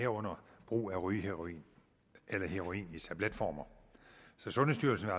herunder brug af rygeheroin eller heroin i tabletformer så sundhedsstyrelsen